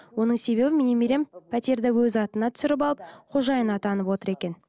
оның себебі менің немерем пәтерді өз атына түсіріп алып қожайын атанып отыр екен